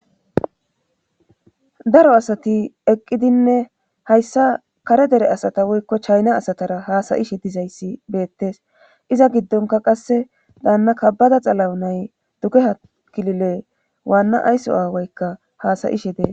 daro asati eqqidinne hayssa kare dere asata woykko chayna asatara haasa'ishe dizayssi beettes iza giddonka qasse daanna kabada xalawunay dugeha kilile waanna ayso aawaykka haasa'ishe dees